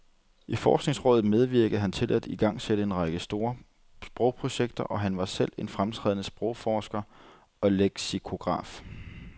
I forskningsrådet medvirkede han til at igangsætte en række store sprogprojekter, og han var selv en fremtrædende sprogforsker og leksikograf.